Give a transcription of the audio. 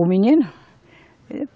O menino?